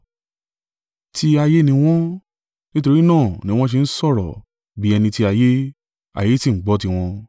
Tí ayé ni wọ́n, nítorí náà ni wọn ṣe ń sọ̀rọ̀ bí ẹni ti ayé, ayé sì ń gbọ́ tí wọn.